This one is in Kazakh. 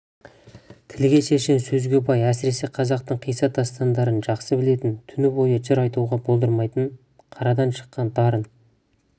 тілге шешен сөзге бай әсіресе қазақтың қисса дастандарын жақсы білетін түні бойы жыр айтуға болдырмайтын қарадан шыққан дарын